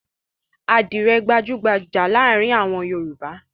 Àdìrẹ́ gbajú-gbajà láàárin àwọn Yorùbá.